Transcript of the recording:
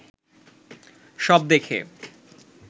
সব দেখে